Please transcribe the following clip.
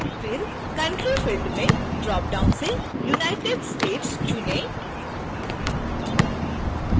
फिर country field में dropdown से united states चुनें